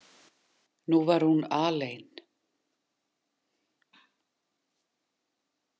Nú var hún alein.